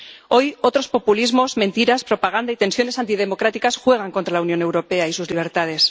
Hoy otros populismos, mentiras, propaganda y tensiones antidemocráticas juegan contra la Unión Europea y sus libertades.